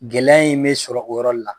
Gɛlɛya in be sɔrɔ o yɔrɔ la